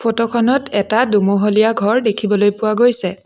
Photo খনত এটা দুমহলীয়া ঘৰ দেখিবলৈ পোৱা গৈছে।